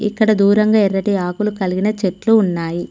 ఇక్కడ దూరంగా ఎర్రటి ఆకులు కలిగిన చెట్లు ఉన్నాయి.